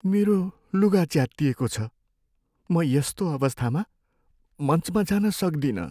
मेरो लुगा च्यातिएको छ। म यस्तो अवस्थामा मञ्चमा जान सक्दिनँ।